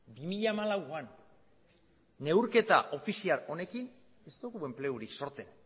bi mila hamalauan neurketa ofizial honekin ez dugu enplegurik sortzen